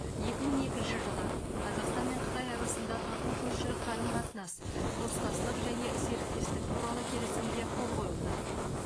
екі мың екінші жылы қазақстан мен қытай арасында тату көршілік қарым қатынас достастық және серіктестік туралы келісімге қол қойылды